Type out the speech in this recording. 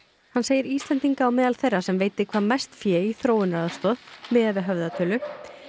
hann segir Íslendinga á meðal þeirra sem veiti hvað mest fé í þróunaraðstoð miðað við höfðatölu